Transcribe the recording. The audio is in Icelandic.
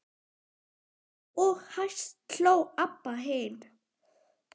Og hæst hló Abba hin.